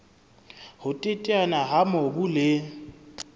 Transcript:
ho teteana ha mobu le